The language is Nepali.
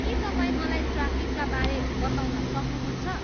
के तपाईँ मलाई ट्राफिकका बारे बताउन सक्नुहुन्छ